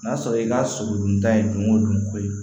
N'a sɔrɔ i ka sogo dun ta ye dun o dun ko ye